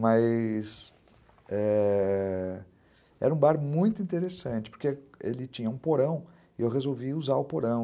Mas ãh... era um bar muito interessante, porque ele tinha um porão e eu resolvi usar o porão.